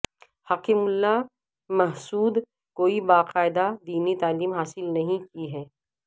حکیم اللہ محسود کوئی باقاعدہ دینی تعلیم حاصل نہیں کی ہے